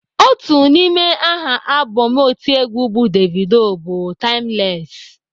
Otu n'ime aha abọm otiegwu bụ Davido bụ "Timeless."